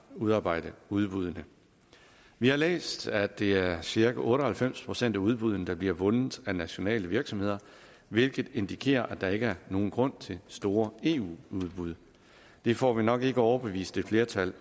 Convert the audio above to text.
udarbejde udbuddene vi har læst at det er cirka otte og halvfems procent af udbuddene der bliver vundet af nationale virksomheder hvilket indikerer at der ikke er nogen grund til store eu udbud det får vi nok ikke overbevist et flertal